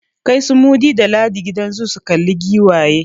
Kai su Mudi da Ladi gidan zoo su kalla giwaye!